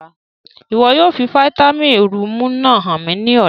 Ìwo yóò fi fàtinin rùumù náa han mi ni ọla!